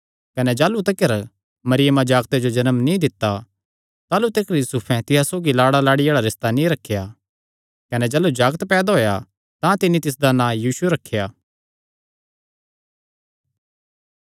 कने जाह़लू तिकर मरियमा जागते जो जन्म नीं दित्ता ताह़लू तिकर यूसुफैं तिसा सौगी लाड़ालाड़ी आल़ा रिस्ता नीं रखेया कने जाह़लू जागत पैदा होएया तां तिन्नी तिसदा नां यीशु रखेया